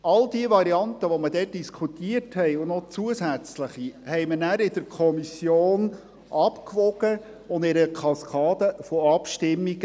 All diese Varianten, die man damals diskutiert hatte, und auch zusätzliche, wogen wir danach in der Kommission ab und bewerteten sie in einer Kaskade von Abstimmungen.